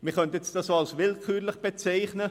Man könnte das auch als willkürlich bezeichnen.